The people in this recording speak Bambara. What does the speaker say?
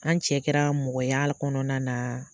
An cɛ kɛra mɔgɔya kɔnɔna na